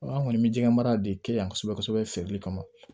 An kɔni bɛ jɛgɛ mara de kɛ yan kosɛbɛ kosɛbɛ feereli kama